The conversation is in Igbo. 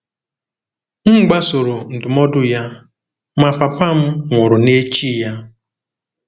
M gbasoro ndụmọdụ ya, ma papa m nwụrụ n’echi ya.